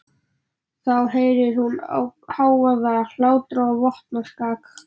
Þá heyrir hún hávaða, hlátra og vopnaskak.